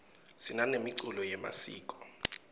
sinanemiculo yemasiko